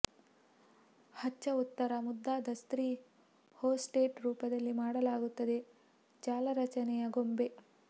ಹಚ್ಚ ಉತ್ತರ ಮುದ್ದಾದ ಸ್ತ್ರೀ ಹೊಸ್ಟೆಸ್ ರೂಪದಲ್ಲಿ ಮಾಡಲಾಗುತ್ತದೆ ಜಾಲರಚನೆಯ ಗೊಂಬೆ